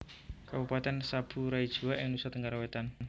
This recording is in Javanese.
Kabupatèn Sabu Raijua ing Nusa Tenggara Wétan